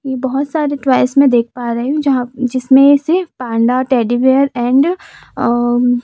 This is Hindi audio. ये बहोत सारे टॉयज में देख पा रही हूं जहां जिसमें से panda teddy bear and uh--